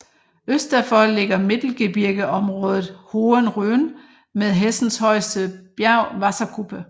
Øst derfor ligger Mittelgebirgeområdet Hohen Rhön med Hessens højeste bjerg Wasserkuppe